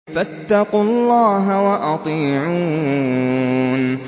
فَاتَّقُوا اللَّهَ وَأَطِيعُونِ